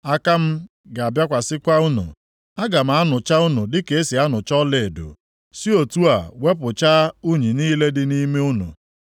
Aka m ga-abịakwasị unu. Aga m anụcha unu dịka e si anụcha ọlaedo, si otu a wepụchaa unyi niile dị nʼime unu.